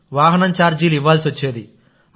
వాహనం ఛార్జీలు ఇవ్వాల్సి వచ్చేది